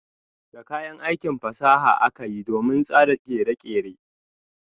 Da kayan aiki fasaha akayi domin tsara kere-kere.